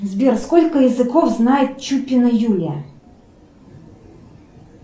сбер сколько языков знает чукина юля